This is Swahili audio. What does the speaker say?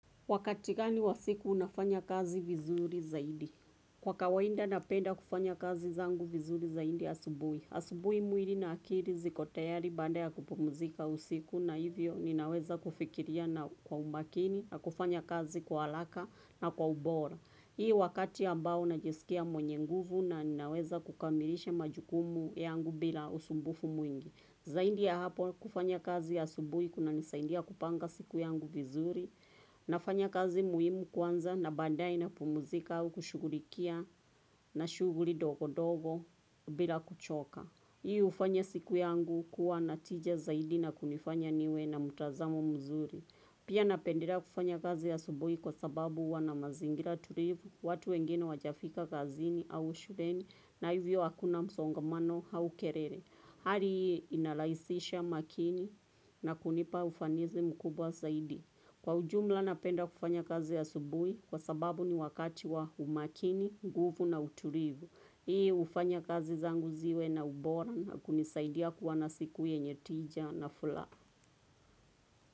Wakati gani wa siku unafanya kazi vizuri zaidi. Kwa kawainda napenda kufanya kazi zangu vizuri zaidi asubuhi. Asubuhi mwiri na akiri ziko tayari baada ya kupumzika usiku na hivyo ninaweza kufikiria na kwa umakini na kufanya kazi kwa halaka na kwa ubora. Hii wakati ambao najesikia mwenye nguvu na ninaweza kukamilisha majukumu yangu bila usumbufu mwingi. Zaidi ya hapo kufanya kazi ya asubuhi kunanisaidia kupanga siku yangu vizuri. Nafanya kazi muhimu kwanza na baadae na pumzika au kushughulikia na shughuli dogo dogo bila kuchoka. Hii ufanya siku yangu kuwa na tija zaidi na kunifanya niwe na mtazamo mzuri. Pia napendelea kufanya kazi asubuhi kwa sababu huwa na mazingira tulivu, watu wengine hawajafika kazini au shuleni na hivyo hakuna msongamano au kerere. Hali hii inalahisisha makini na kunipa ufanizi mkubwa zaidi. Kwa ujumla napenda kufanya kazi asubuhi kwa sababu ni wakati wa umakini, nguvu na uturivu. Hii ufanya kazi zangu ziwe na ubora na kunisaidia kuwa na siku yenye tija na fulaha.